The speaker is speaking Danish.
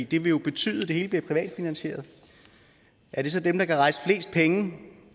det vil jo betyde at det hele bliver privatfinansieret er det så dem der kan rejse flest penge